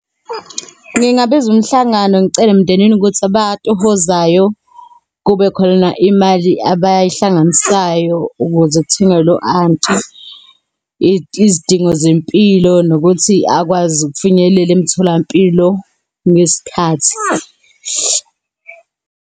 Ngingabiza umhlangano, ngicele emndenini ukuthi abatohozayo kube khona imali abayihlanganisayo, ukuze kuthengelwe u-anti izidingo zempilo, nokuthi akwazi ukufinyelela emtholampilo ngesikhathi.